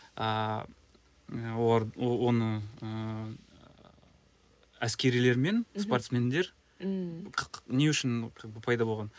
ааа олар оны ыыы әскерилер мен спортсмендер ммм не үшін пайда болған